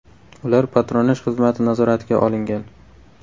Ular patronaj xizmati nazoratiga olingan.